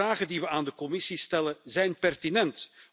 De vragen die we aan de Commissie stellen, zijn pertinent.